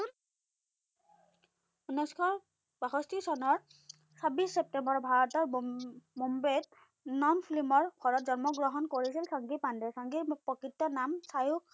উনৈসশ বাষষ্ঠি চনৰ ছাব্বিশ চেপ্তেম্বৰ ভাৰতৰ বম্ব বম্বেত non-film ৰ ঘৰত জন্ম গ্ৰহণ কৰিছিল চাংকি পাণ্ডে। চাংকিৰ প্ৰকৃত নাম চায়ুস